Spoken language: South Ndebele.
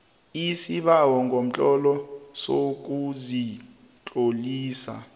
isibawo ngomtlolo sokuzitlolisa